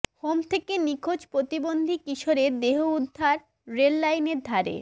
home থেকে নিখোঁজ প্রতিবন্ধী কিশোরের দেহ উদ্ধার রেল লাইনের ধারে